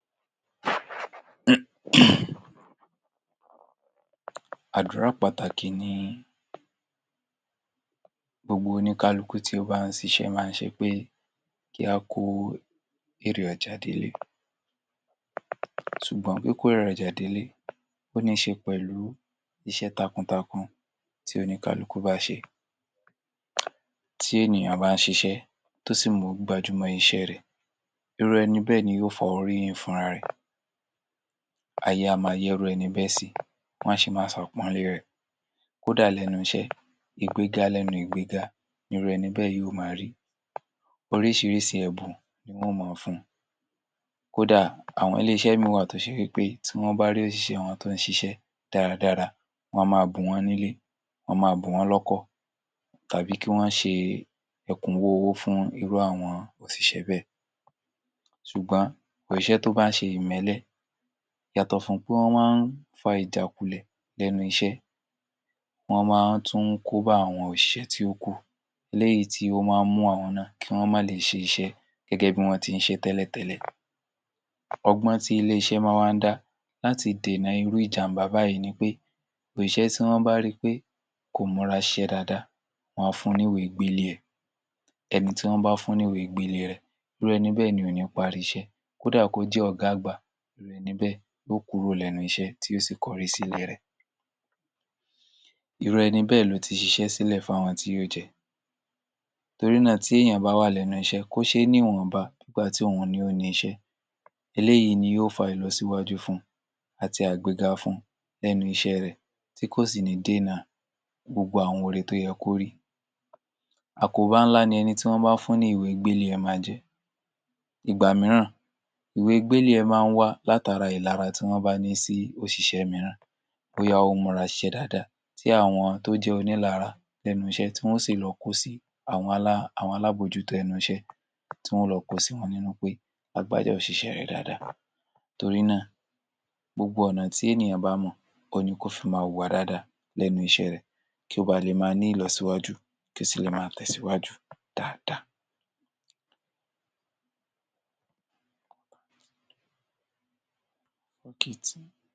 Àdúrà pàtàkì ni gbogbo oníkálukú tí bá ń ṣiṣẹ́ máa ń ṣe pé kí á kó èrè ọjà dé’lé ṣùgbọ́n kíkó èrè ọjà dé’lé ó níṣe pẹ̀lú iṣẹ́ takuntakun tí oníkálukú bá ṣe. Tí ènìyàn bá ṣiṣẹ́ tó sì gbájú mọ́ iṣẹ́ rẹ̀ irú ẹni bẹ́ẹ̀ ni yóò fa oríyìn fún’ra rẹ̀. Ayé á máa yẹ́ irú ẹni bẹ́ẹ̀ sí wọ́n á sì máa ṣàpọ́lé rẹ̀ kóhdà lẹ́nú iṣẹ́ ìgbéga lẹ́nu ìgbéga ni irú ẹni bẹ́ẹ̀ yóò máa rí. Oríṣiríṣi ẹ̀bùn ni wọn ó máa fun. Kó dà àwọn ilé-iṣẹ́ mìíràn wà tó ṣe wí pé tí wọ́n bá rí òṣìṣẹ wọn tó ń ṣiṣẹ́ dáradára wọ́n á máa bùn wọ́n ní’lé, wọ́n á máa bùn wọ́n lọ́kọ̀ tàbí kí wọ́n ṣe ẹ̀kúnwó owó fún irú àwọn òṣìṣẹ́ bẹ́ẹ̀ ṣùgbọ́n òṣìṣẹ́ tó bá ń ṣe ìmẹ́lé yàtọ̀ fún pé wọ́n máa ń fa ìjákulẹ̀ ní ẹnu iṣẹ́, wọ́n máa tún ń kóbá àwọn òṣìṣẹ́ tí ó kù léyì tí ó máa ń mú àwọn náà kí wọ́n má le è ṣe iṣẹ́ gẹ́gẹ́ bí wọ́n ti ń ṣe tẹ́lẹ̀tẹ́lè. ọgbọ́n tí ilé-iṣẹ́ máa wá ń dá láti dènà irú ìjàm̀bá báyìí ni pé òṣìṣẹ́ tí wọ́n bá ri pé kò múra síṣẹ́ dáadáa wọ́n á fun ní ìwé gbélé ẹ. ẹni tí wọ́n bá fuún ní ìwé gbélé rẹ̀ irú ẹni bẹ́ẹ̀ ni ò ní parí iṣẹ́ kó dà kó jẹ́ ọ̀gá àgbà ni irú ẹni bẹ́ẹ̀ yóò kúrò lẹ́nu iṣẹ́ tí yóò sì kọ’rí sí ilé rẹ̀, irú ẹni bẹ́ẹ̀ ló ti ṣiṣẹ́ sílẹ̀ fún àwọn tí yóò jẹ. Torí náà, tí èèyàn bá wà lẹ́nu iṣẹ́ kó ṣe níwọ̀nba. eléyìí ni yó fa ìlọsíwájú fun àti àgbéga fun lẹ́nu iṣẹ́ rẹ̀ tí kò sì ní dènà gbogbo àwọn ore tó yẹ kó rí. Àkóbá ńlá ni ẹni tí wọ́n bá fún ní ìwé gbélé ẹ máa ń jẹ. Ìgbà mìíràn ìwé gbélé ẹ máa ń wá látara ìlara tí wọ́n bá ní sí òṣìṣẹ́ mìíràn bóyá ó múra síṣẹ́ dáadáa tí àwọn tó jẹ́ onílara lẹhnu iṣẹ́ tí wọn ó sì lọ kó si àwọn alábòjútó ẹnu iṣẹ́ tí wọ́n ó lọ kó sí wọn nínú pé. torí náà gbogbo ọ̀nà tí ènìyàn bá mọ̀ òun ni kó fi máa wùwà dáadáa lẹ́nu iṣẹ́ rẹ̀ kí ó ba lè máa ní ìlọsíwájú, kó sì lè máa tẹ̀síwájú dáadáa